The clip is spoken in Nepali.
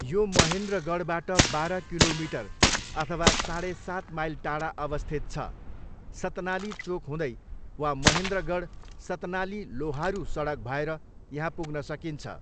यो महेन्द्रगढबाट बाह्र किलोमिटर अथवा साँडे सात माइल टाडा अवस्थित छ, सतनाली चोक हुँदै वा महेन्द्रगढ सतनाली लोहारू सडक भएर यहाँ पुग्न सकिन्छ।